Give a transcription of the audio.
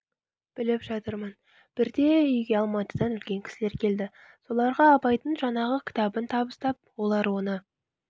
біліп жатырмын бірде үйге алматыдан үлкен кісілер келді соларға абайдың жаңағы кітабын табыстап олар оны